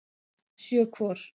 Sjö hvor.